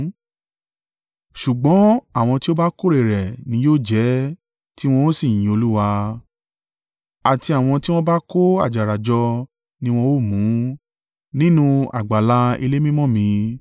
ṣùgbọ́n àwọn tí ó bá kóórè rẹ̀ ni yóò jẹ ẹ́, tí wọn ó sì yin Olúwa, àti àwọn tí wọ́n bá kó àjàrà jọ ni wọn ó mú un, nínú àgbàlá ilé mímọ́ mi.”